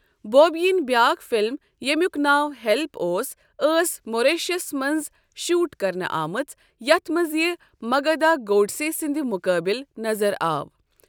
بوبی یِنۍ بیٛاکھ فِلم، ییٚمیُک ناو 'ہیلپ' اوس، ٲس ماریشسَس منٛز شوٹ کرنہٕ آمٕژ، یَتھ منٛز یہِ مگدھا گوڈسے سٕنٛدِ مُقٲبلٕ نظر آو۔